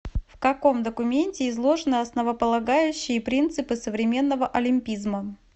в каком документе изложены основополагающие принципы современного олимпизма